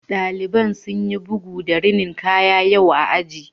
Ɗaliban sun yi bugu da rinin kaya yau a aji